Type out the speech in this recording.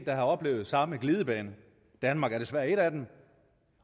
har oplevet samme glidebane danmark er desværre et af dem